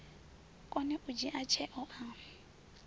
kone u dzhia tsheo a